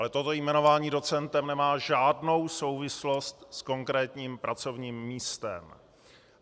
Ale toto jmenování docentem nemá žádnou souvislost s konkrétním pracovním místem.